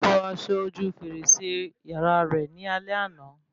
Ó fọ aṣọ ojú fèrèsé yàrá rẹ ni alẹ́ àná